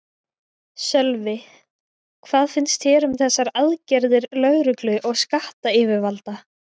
Sölvi, hvað finnst þér um þessar aðgerðir lögreglu og skattayfirvalda?